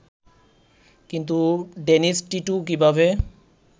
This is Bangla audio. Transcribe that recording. কিন্তু ডেনিস টিটো কীভাবে